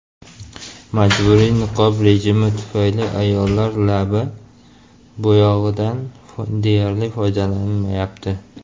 Majburiy niqob rejimi tufayli ayollar lab bo‘yog‘idan deyarli foydalanmayapti.